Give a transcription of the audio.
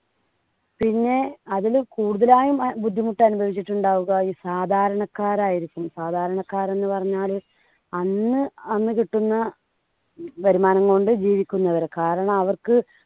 പിന്നെ അതിലും കൂടുതലായി ബുദ്ധിമുട്ട് അനുഭവിച്ചിട്ടുണ്ടാവുക ഈ സാധാരണക്കാരായിരിക്കും. സാധാരണക്കാര് എന്ന് പറഞ്ഞാല്, അന്ന് അന്ന് കിട്ടുന്ന വരുമാനം കൊണ്ട് ജീവിക്കുന്നവര്. കാരണം അവർക്ക്